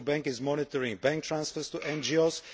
the Central Bank is monitoring bank transfers to NGOs